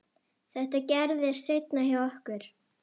Þetta gerðist seinna hjá okkur.